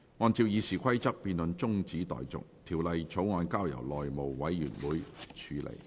按照《議事規則》，辯論中止待續，條例草案交由內務委員會處理。